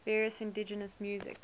various indigenous music